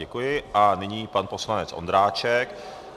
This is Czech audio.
Děkuji a nyní pan poslanec Ondráček.